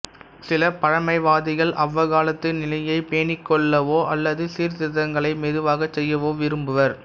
சில பழைமைவாதிகள் அவ்வக்காலத்து நிலையைப் பேணிக்கொள்ளவோ அல்லது சீர்திருத்தங்களை மெதுவாகச் செய்யவோ விரும்புவர்